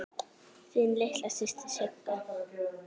Þín litla systir Sigga.